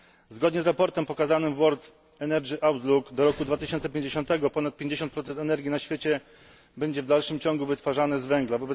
Zgodnie z raportem pokazanym w World Energy Outlook do roku 2050 ponad 50 energii na świecie będzie w dalszym ciągu wytwarzane z węgla.